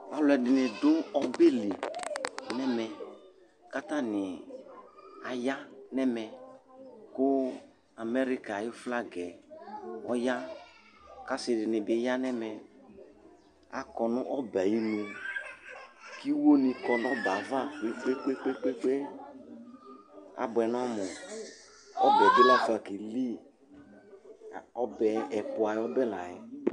Aluɛdini bi du ɔbɛ li n'ɛmɛ, k'atani aya n'ɛmɛ ku america ayi flag ɔya, k'asi dini bi ya n'ɛmɛ, akɔ nu ɔbɛ ayi inu, k'iwo ni kɔ nu ɔbɛ ava kpekpekpe abuɛ n'ɔmu, ɔbɛ bi la fa kaeli ,la ku ɔbɛ ɛpũ ayi ɔbɛ laɛ